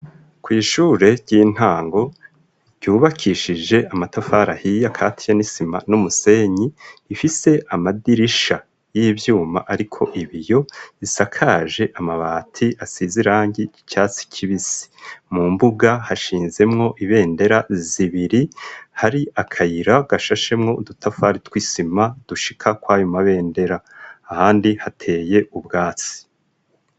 Kw'ishure ry'intango, ryubakishije amatafari ahiye, akatiye n'isima, n'umusenyi, ifise amadirisha y'ivyuma, ariko ibiyo; isakaje amabati asize irangi ry'icyatsi kibisi; mu mbuga, hashinzemwo, ibendera zibiri; hari akayira, gashashemwo udutafari tw'isima, dushika kw'ayo mabendera; ahandi hateye ubwatsi.